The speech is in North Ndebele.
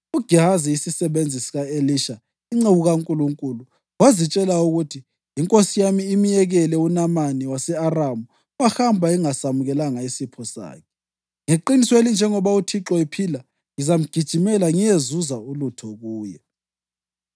uGehazi, isisebenzi sika-Elisha inceku kaNkulunkulu, wazitshela ukuthi, “Inkosi yami imyekele uNamani wase-Aramu, wahamba ingasamukelanga isipho sakhe. Ngeqiniso elinjengoba uThixo ephila ngizamgijimela ngiyezuza ulutho kuye.”